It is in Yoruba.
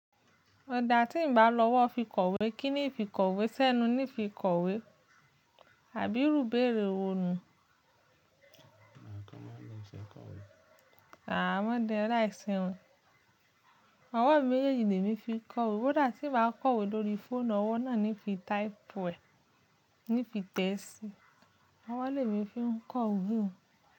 Ọ̀dà tí ń bá lọ́wọ́ fi kọ̀wé, kí ni fikọ̀wé? Sẹ́nu ni fi kọ̀wé. Àbí irú béèrè wo ni? À máa ń di ẹ láì sin òun. Ọwọ́ mi mejeji lẹ́mi fi kọ̀ óò kó dà tí ń bá kọ̀wé lórí fóònù ọwọ́ náà níí fi type ẹ, níí fi tẹ sí i. Ọwọ́ lè mi fi ń kọ ìwé.